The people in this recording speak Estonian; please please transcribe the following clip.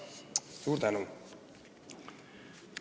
Suur tänu!